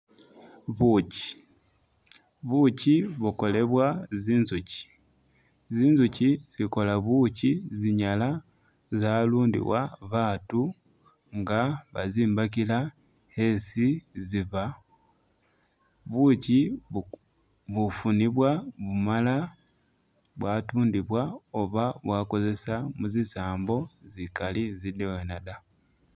Bukyi, bukyi bukolebwa zinzukyi, zinzukyi zikola bukyi zinyala zalundiwa batu nga bazimbakila esi ziba, bukyi bu- bufunibwa bumala bwatundibwa oba bwakozesebwa muzisambo zikali zidwena da.